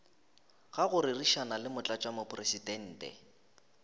ga go rerišana le motlatšamopresidente